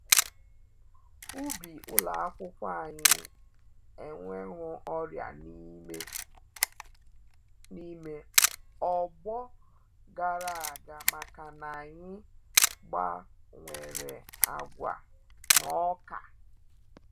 Ubi ụlọ akwụkwọ anyị ewehou ọrịa n’ime ọgbọ gara aga maka-na anyị gbawere agwa na oka.